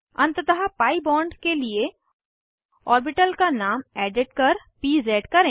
अंततः P bond के लिए ऑर्बिटल का नाम एडिट कर पीज़ करें